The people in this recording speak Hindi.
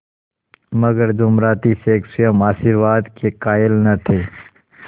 मगर जुमराती शेख स्वयं आशीर्वाद के कायल न थे